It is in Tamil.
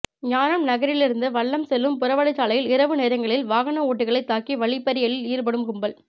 ஞானம்நகரிலிருந்து வல்லம் செல்லும் புறவழி சாலையில் இரவு நேரங்களில் வாகன ஓட்டிகளை தாக்கி வழிப்பறியில் ஈடுபடும் கும்பல்